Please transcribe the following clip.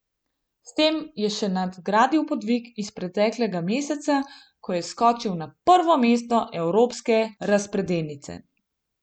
S tem je še nadgradil podvig iz preteklega meseca, ko je skočil na prvo mesto evropske razpredelnice.